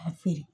K'a feere